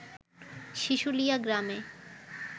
শিশুলিয়া গ্রামে